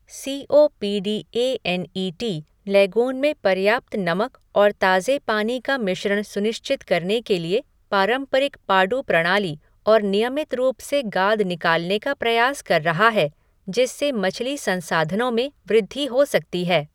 C O P D A N E T lagoon में पर्याप्त नमक और ताज़े पानी का मिश्रण सुनिश्चित करने के लिए पारंपरिक पाडू प्रणाली और नियमित रूप से गाद निकालने का प्रयास कर रहा है, जिससे मछली संसाधनों में वृद्धि हो सकती है।